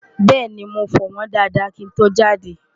bẹ́ẹ̀ni, mo fọ̀ wọ́ñ dáadáá kí n tó jáde